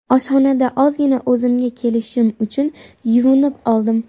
Oshxonada ozgina o‘zimga kelishim uchun yuvinib oldim.